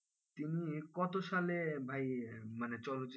তিনি কত সালে ভাই মানে চলচ্চিত্রে,